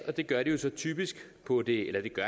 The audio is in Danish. det gør de så på det